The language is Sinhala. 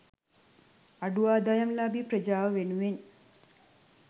අඩු ආදායම්ලාභී ප්‍රජාව වෙනුවෙන්